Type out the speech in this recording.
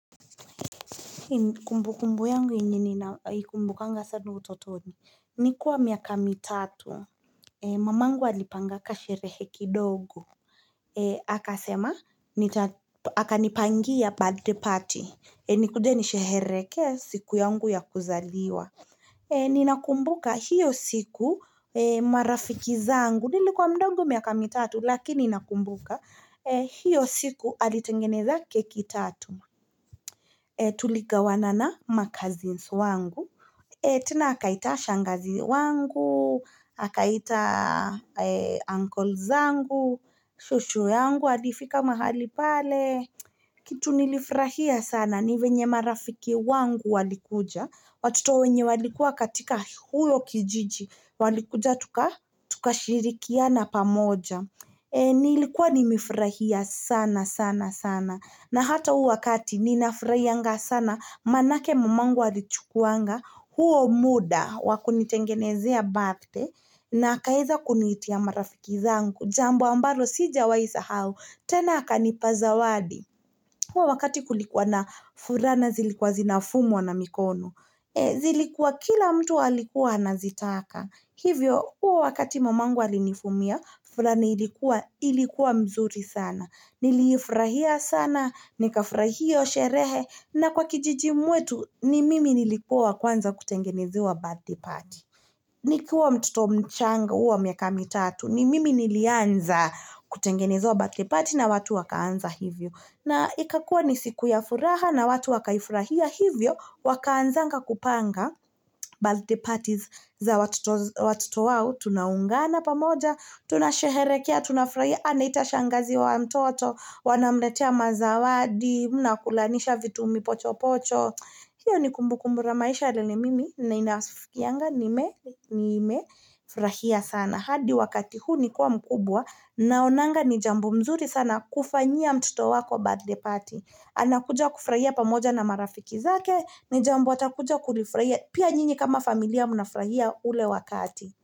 Kumbukumbu yangu yenye ninaikumbukanga sanu utotoni. Nikuwa miaka mitatu. Mamangu alipanga kasherehe kidogo. Akasema, nita, akanipangia birthday party. Nikuje nisherehekee siku yangu ya kuzaliwa. Ninakumbuka hiyo siku marafiki zangu. Nilikuwa mdogo miaka mitatu, lakini nakumbuka. Hiyo siku alitengeneza keki tatu. Tuligawana na macousins wangu. Tena akaita shangazi wangu, akaita uncles zangu, shosho yangu alifika mahali pale. Kitu nilifurahia sana ni venye marafiki wangu walikuja. Watoto wenye walikuwa katika huyo kijiji. Walikuja tukashirikiana pamoja. Nilikuwa nimefurahia sana sana sana. Na hata huo wakati ninafurahianga sana maanake mamangu alichukuanga huo muda wa kunitengenezea birthday na akaeza kuniitia marafiki zangu. Jambo ambalo sijawai sahau tena akanipa zawadi huo wakati kulikuwa na furaha na zilikuwa zinafumwa na mikono. Zilikuwa kila mtu alikuwa anazitaka. Hivyo huo wakati mamangu lainifumia furani ilikuwa mzuri sana. Niliifurahia sana, nikafurahia hyo sherehe na kwa kijijini mwetu ni mimi nilikuwa wa kwanza kutengenezewa birthday party. Nikiwa mtoto mchanga huwa miaka mitatu, ni mimi nilianza kutengenezewa birthday party na watu wakaanza hivyo. Na ikakua ni siku ya furaha na watu wakaifurahia hivyo, wakaanzanga kupanga birthday parties za watoto wao. Tunaungana pamoja, tunasheherekea, tunafurahia, anaita shangazi wa mtoto Wanamletea mazawadi, mnakulanisha vitu mipochopocho hiyo ni kumbukumbu la maisha lenye mimi na naskianga nimefurahia sana hadi wakati huu nikiwa mkubwa naonanga ni jambo mzuri sana kufanyia mtoto wako birthday party anakuja kufurahia pamoja na marafiki zake, ni jambo atakuja kulifurahia pia nyinyi kama familia mnafurahia ule wakati.